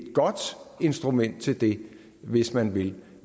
godt instrument til det hvis man vil